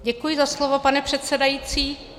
Děkuji za slovo, pane předsedající.